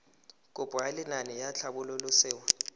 kopo ya lenaane la tlhabololosewa